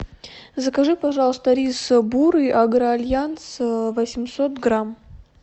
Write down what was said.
закажи пожалуйста рис бурый агроальянс восемьсот грамм